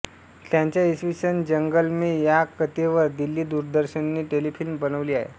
त्यांच्या इस जंगलमें या कथेवर दिल्ली दूरदर्शनने टेलिफिल्म बनवली आहे